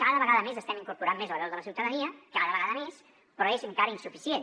cada vegada més estem incorporant més la veu de la ciutadania cada vegada més però és encara insuficient